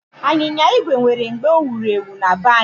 Anyịnya igwe nwere mgbe o wuru ewu na be anyị.